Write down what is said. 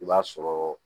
I b'a sɔrɔ